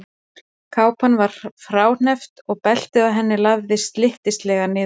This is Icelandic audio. Kápan var fráhneppt og beltið á henni lafði slyttislega niður á gólf.